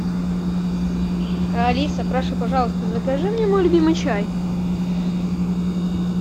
алиса прошу пожалуйста закажи мне мой любимый чай